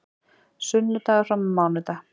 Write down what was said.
Sunnudagur fram á mánudag